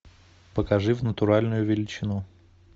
покажи в натуральную величину